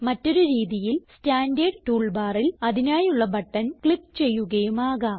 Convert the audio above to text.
മറ്റൊരു രീതിയിൽ standard tool ബാറിൽ അതിനായുള്ള ബട്ടൺ ക്ലിക്ക് ചെയ്യുകയും ആകാം